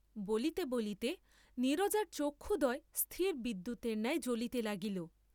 বলিতে বলিতে নীরজার চক্ষুদ্বয় স্থির বিদ্যুতের ন্যায় জ্বলিতে লাগিল।